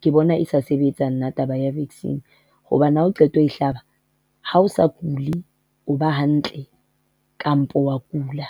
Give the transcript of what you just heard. ke bona e sa sebetsa nna taba ya vaccine hobane ha o qeta ho hlaba ha o sa kule, o ba hantle kampo o a kula.